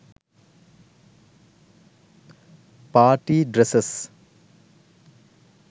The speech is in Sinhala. party dresses